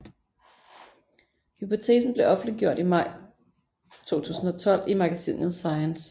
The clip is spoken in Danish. Hypotesen blev offentliggjort i maj 2012 i magasinet Science